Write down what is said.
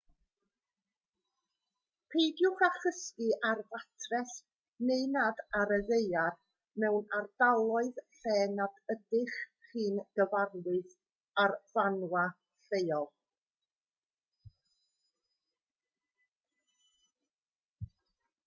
peidiwch â chysgu ar fatres neu nad ar y ddaear mewn ardaloedd lle nad ydych chi'n gyfarwydd â'r ffawna lleol